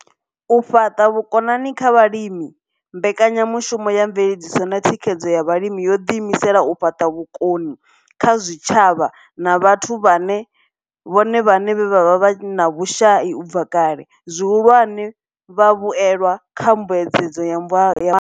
U fhaṱa vhukoni kha vhalimi Mbekanya mushumo ya Mveledziso na Thikhedzo ya Vhalimi yo ḓiimisela u fhaṱa vhukoni kha zwitshavha na vhathu vhone vhaṋe vhe vha vha vhe na vhushai u bva kale, zwihulwane, vhavhuelwa kha Mbuedzedzo ya.